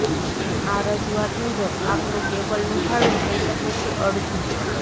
આ રજુઆત મુજબ આપનુ કેબલ નુ ભાડૂ થઈ શકે છે અડધુ